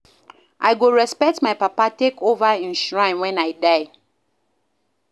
I go respect my papa take over im shrine wen I die